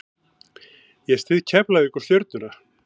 Ég styð Keflavík og Stjörnuna.